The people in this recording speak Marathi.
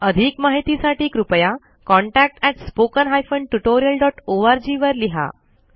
अधिक माहितीसाठी कृपया contactspoken tutorialorg वर लिहा